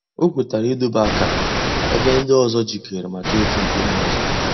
Ọ̀ kwètara ídòbè àkárà èbè ńdí òzò jìkèrè mǎká ị̀tụ̀ ńkùmé̀ òzò.